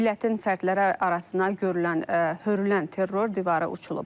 Millətin fərdləri arasına hörülən terror divarı uçulub.